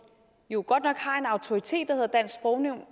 jo godt nok har en autoritet der hedder dansk sprognævn